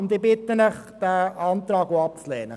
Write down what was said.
Ich bitte Sie, den Antrag auch abzulehnen.